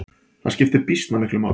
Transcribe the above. Það skiptir býsna miklu máli.